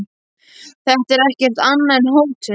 Þetta er ekkert annað en hótun.